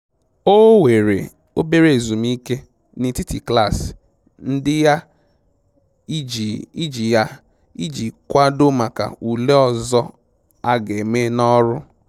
O weere obere ezumike n'etiti klaasị ndị ya iji ya iji kwadoo maka ule ọzọ a ga-eme n'ọrụ